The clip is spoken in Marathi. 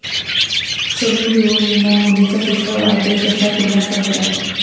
सनी लिओनीनं मुलीचा तिसरा वाढदिवस असा केला साजरा